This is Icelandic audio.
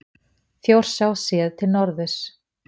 Þjórsá séð til norðurs.